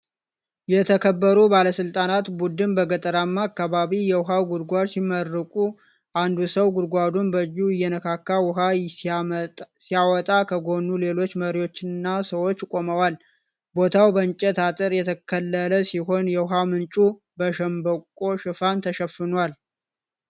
የተከበሩ ባለስልጣናት ቡድን በገጠራማ አካባቢ የውኃ ጉድጓድ ሲመረቁ። አንዱ ሰው ጉድጓዱን በእጁ እየነካካ ውሃ ሲያወጣ ከጎኑ ሌሎች መሪዎችና ሰዎች ቆመዋል። ቦታው በእንጨት አጥር የተከለለ ሲሆን የውኃ ምንጩ በሸምበቆ ሽፋን ተሸፍኗል።